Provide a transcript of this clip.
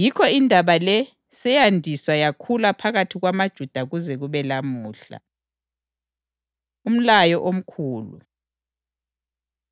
Yikho indaba le seyandiswa yakhula phakathi kwamaJuda kuze kube lamuhla. Umlayo Omkhulu